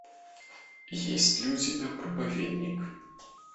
есть ли у тебя проповедник